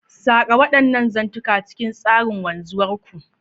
Saƙa waɗannan zantukan cikin tsarin wanzuwar ku.